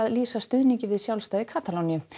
lýsa stuðningi við sjálfstæði Katalóníu